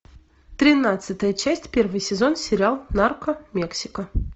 тринадцатая часть первый сезон сериал нарко мексика